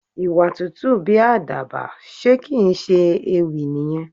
Ìwà tútù bí Àdàbà, ṣe kì ń ṣe ewì nìyẹn?